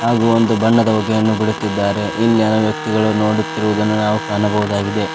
ಹಾಗು ಒಂದು ಬಣ್ಣದ ಹೋಗೆಯನ್ನು ಬಿಡುತ್ತಿದ್ದಾರೆ ಇನ್ನೇನು ವ್ಯಕ್ತಿಗಳು ನೋಡುತ್ತಿರುವುದನ್ನು ನಾವು ಕಾಣಬಹುದಾಗಿದೆ.